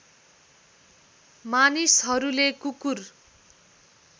मानिसहरूले कुकुर